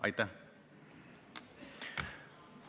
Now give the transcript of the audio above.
Aitäh!